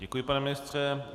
Děkuji, pane ministře.